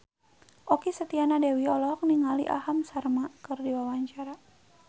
Okky Setiana Dewi olohok ningali Aham Sharma keur diwawancara